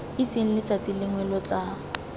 itseng letsatsi lengwe lo tla